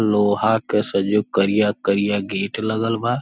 लोहा के करिया-करिया गेट लगल बा।